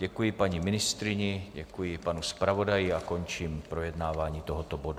Děkuji paní ministryni, děkuji panu zpravodaji a končím projednávání tohoto bodu.